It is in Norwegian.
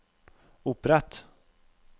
opprett